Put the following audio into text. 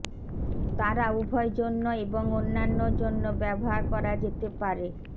তারা উভয় জন্য এবং অন্যান্য জন্য ব্যবহার করা যেতে পারে